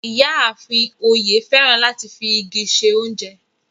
Iyàáfín Oye fẹ́ràn láti fi igi ṣẹ ọ̀unjẹ